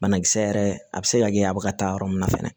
Banakisɛ yɛrɛ a bɛ se ka kɛ a bɛ ka taa yɔrɔ min na fɛnɛ